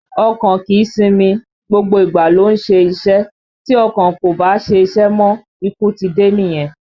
Ọkàn kìí sinmi, gbogbo ìgbà ló ń ṣe iṣẹ́, tí ọkàn kò bá ṣiṣẹ́ mọ́, ikú ti dé nìyẹn